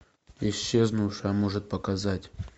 исчезнувшая может показать